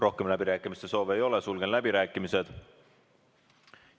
Rohkem läbirääkimiste soove ei ole, sulgen läbirääkimised.